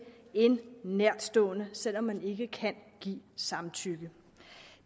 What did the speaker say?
en nærtstående selv om man ikke kan give samtykke